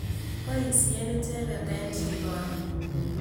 Poisyen icheket eng' chikoni.